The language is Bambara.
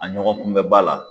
A ɲɔgɔn kunbɛba la.